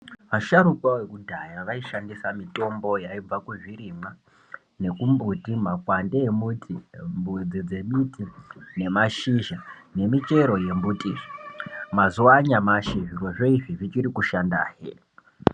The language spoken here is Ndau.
Asharukwa ekudhaya aishandisa mitombo yaibva kuzvirimwa nekumbuti makwande emuti mudzi dzemuti nemashizha nemichero yembuti mazuwa anyamashi zviro izvi zvichiri kushanda.